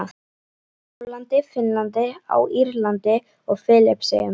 Póllandi, Finnlandi, á Írlandi og Filippseyjum.